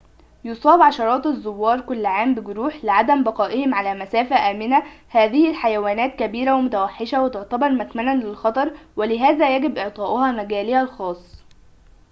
يصاب عشرات الزوار كل عام بجروح لعدم بقائهم على مسافة آمنة هذه الحيوانات كبيرة ومتوحشة و تعتبر مكمناً للخطر ولهذا يجب إعطاؤها مجالها الخاص